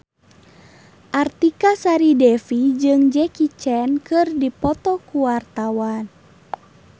Artika Sari Devi jeung Jackie Chan keur dipoto ku wartawan